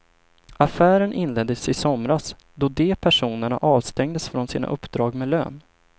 Affären inleddes i somras, då de personerna avstängdes från sina uppdrag med lön.